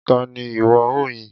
Ta ni ìwọ ó yìn?